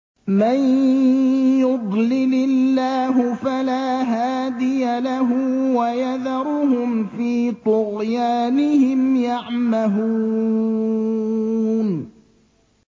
مَن يُضْلِلِ اللَّهُ فَلَا هَادِيَ لَهُ ۚ وَيَذَرُهُمْ فِي طُغْيَانِهِمْ يَعْمَهُونَ